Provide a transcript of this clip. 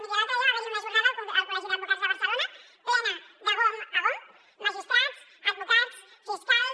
miri l’altre dia va haverhi una jornada al col·legi d’advocats de barcelona plena de gom a gom magistrats advocats fiscals